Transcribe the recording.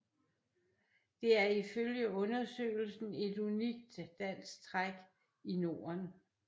Det er ifølge undersøgelsen et unikt danskt træk i Norden